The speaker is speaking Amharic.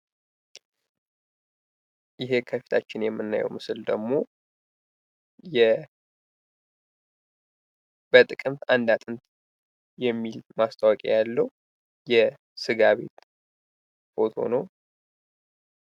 ይሄ ከፊታችን የምናየው ምስል ደግሞ በጥቅምት አንድ አጥንት የሚል ማስታወቂያ ያለው የስጋ ቤት ፎቶ ነው።